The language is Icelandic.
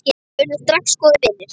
Við urðum strax góðir vinir.